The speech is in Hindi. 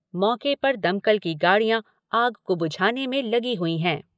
मौके पर दमकल की गाड़ियां आग को बुझाने में लगी हुई है।